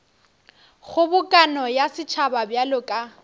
kgobokano ya setšhaba bjalo ka